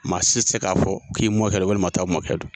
Maa si tɛ se k'a fɔ, k'i mɔkɛ don walima o taa mɔkɛ don.